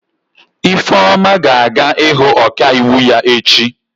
Ifeoma ga-aga ịhụ ọkaiwu ya echi.